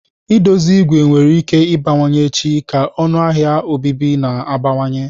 I dozi ìgwè nwere ike ịbawanye echi ka ọnụ ahịa obibi na-abawanye.